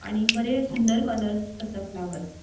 आणि बरे सुंदर कलर्स असा फ्लावर्स --